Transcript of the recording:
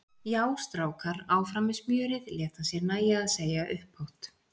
Já, strákar, áfram með smjörið! lét hann sér nægja að segja upphátt.